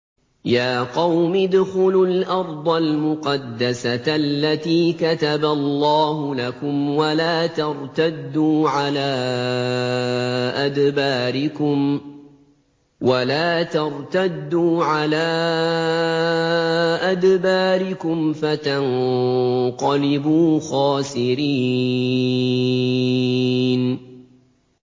يَا قَوْمِ ادْخُلُوا الْأَرْضَ الْمُقَدَّسَةَ الَّتِي كَتَبَ اللَّهُ لَكُمْ وَلَا تَرْتَدُّوا عَلَىٰ أَدْبَارِكُمْ فَتَنقَلِبُوا خَاسِرِينَ